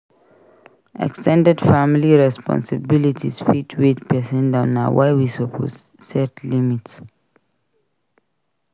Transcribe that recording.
Ex ten ded family responsibilities fit weigh pesin down. Na why we suppose set limits.